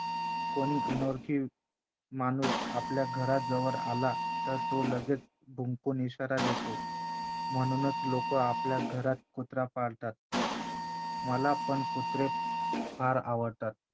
कोणी अनोळखी माणूस आपल्या घराजवळ आला तर तो लगेच भुंकून इशारा देतो म्हणूनचं लोकं आपल्या घरात कुत्रा पाळतात. मला पण कुत्रे फार आवडतात.